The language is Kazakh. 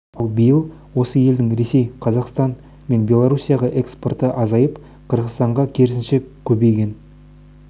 үлесі пайыз ал биыл осы елдің ресей қазақстан мен белорусияға экспорты азайып қырғызстанға керісінше көбейген